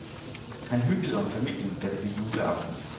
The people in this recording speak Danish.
Han hyggede om familien, da det blev juleaften.